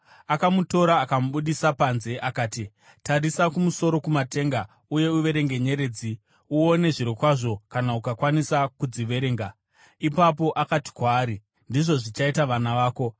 Akamutora akamubudisa panze akati, “Tarisa kumusoro kumatenga uye uverenge nyeredzi uone zvirokwazvo kana ukakwanisa kudziverenga.” Ipapo akati kwaari, “Ndizvo zvichaita vana vako.”